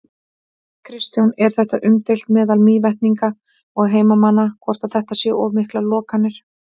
Kristján: Er þetta umdeilt meðal Mývetninga og heimamanna, hvort að þetta séu of miklar lokanir?